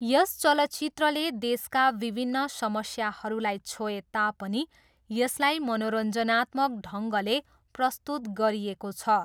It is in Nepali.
यस चलचित्रले देशका विभिन्न समस्याहरूलाई छोए तापनि यसलाई मनोरञ्जनात्मक ढङ्गले प्रस्तुत गरिएको छ।